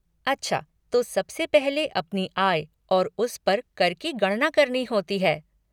अच्छा तो सबसे पहले अपनी आय और उस पर कर की गणना करनी होती है।